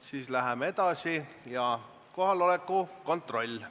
Siis läheme edasi ja teeme kohaloleku kontrolli.